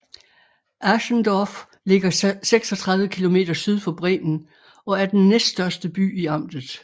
Asendorf ligger 36 km syd for Bremen og er den næststørste by i amtet